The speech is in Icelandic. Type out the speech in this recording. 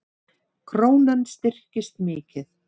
Krónan styrkist mikið